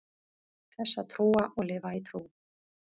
þess að trúa og lifa í trú